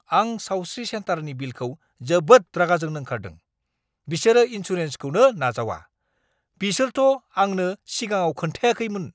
आं सावस्रि सेन्टारनि बिलखौ जोबोद रागा जोंनो ओंखारदों, बिसोरो इनसुरेन्सखौनो नाजावा, बिसोरथ' आंनो सिगाङाव खोन्थायाखैमोन।